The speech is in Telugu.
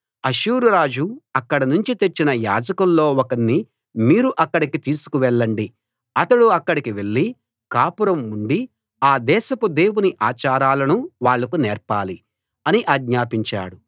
అష్షూరు రాజు అక్కడ నుంచి తెచ్చిన యాజకుల్లో ఒకణ్ణి మీరు అక్కడికి తీసుకెళ్ళండి అతడు అక్కడికి వెళ్లి కాపురం ఉండి ఆ దేశపు దేవుని ఆచారాలను వాళ్లకు నేర్పాలి అని ఆజ్ఞాపించాడు